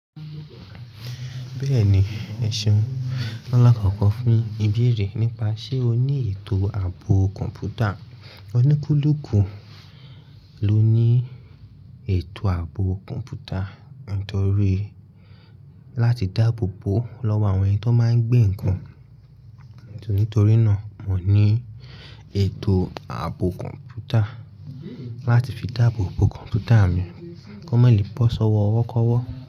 Bẹ́ẹ̀ni, ẹ̀ṣeun lakọ̀kọ̀ fún ìbéèrè nípa ṣe o ní ètò ààbò kọ̀m̀pútà. Ọníkulùkù ló ní ètò ààbò kọ̀m̀pútà nítorí láti dáàbò bo lọ́wọ́ àwọn ẹni tó máa ń gbé nǹkan. Nítorí náà, mo ní ètò ààbò kọ̀m̀pútà láti fi dáàbò bo kọ̀m̀pútà mi kó má lè bọ́ ṣọ́wọ́ ọwọ́ kọ́wọ́.